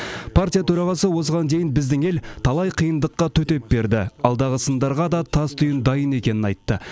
партия төрағасы осыған дейін біздің ел талай қиындыққа төтеп берді алдағы сындарға да тастүйін дайын екенін айтты